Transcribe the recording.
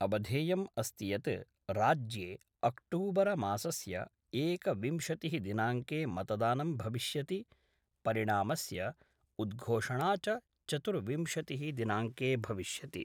अवधेयं अस्ति यत् राज्ये अक्टोबर मासस्य एकविंशति: दिनांके मतदानं भविष्यति, परिणामस्य उद्घोषणा च चतुर्विंशतिः दिनांके भविष्यति।